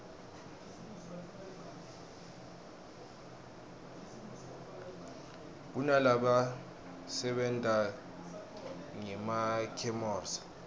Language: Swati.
kunalaba sebentangema khemosra